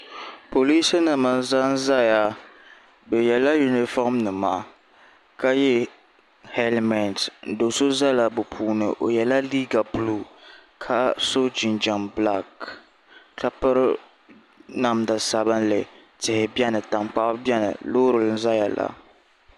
polinsi nim m zan zaya bɛ yɛla yuniƒɔm nima ka yɛ halimɛnitɛ do so zala be puuni o yɛla liga bulu ka so jinjam bilaki ka pɛri namida sabinli tihi bɛni ka mori bɛni lori n doya la